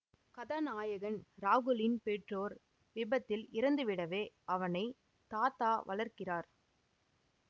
கதாநாயகன் ராகுலின் பெற்றோர் விபத்தில் இறந்துவிடவே அவனை தாத்தா வளர்க்கிறார்